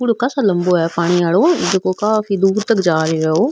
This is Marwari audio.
पूल कासा लम्बो है पानी आलो जैको काफी दूर तक जा रो है ओ।